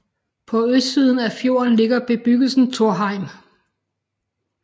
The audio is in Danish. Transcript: På østsiden af fjorden ligger bebyggelsen Torheim